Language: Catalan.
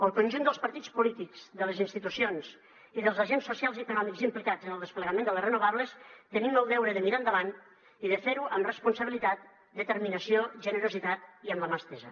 el conjunt dels partits polítics de les institucions i dels agents socials i econòmics implicats en el desplegament de les renovables tenim el deure de mirar endavant i de fer ho amb responsabilitat determinació generositat i amb la mà estesa